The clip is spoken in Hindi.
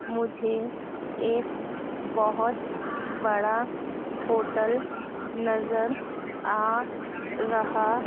मुझे एक बहोत बड़ा होटल नजर आ रहा--